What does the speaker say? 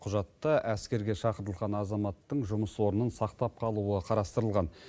құжатта әскерге шақырылған азаматтың жұмыс орнын сақтап қалуы қарастырылған